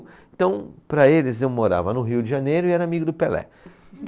Então, para eles eu morava no Rio de Janeiro e era amigo do Pelé.